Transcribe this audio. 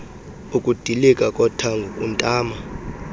ukudilika kothango kuntama